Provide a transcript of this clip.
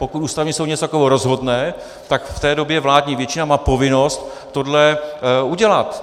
Pokud Ústavní soud něco takového rozhodne, tak v té době vládní většina má povinnost tohle udělat.